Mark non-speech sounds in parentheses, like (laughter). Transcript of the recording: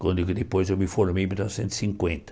Quando (unintelligible) depois eu me formei em mil novecentos e cinquenta.